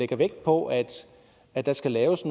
der vægt på at at der skal laves